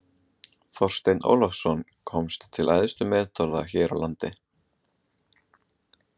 Þorsteinn Ólafsson komst til æðstu metorða hér á landi.